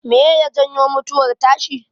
Meye ya janyo mutuwar tashi?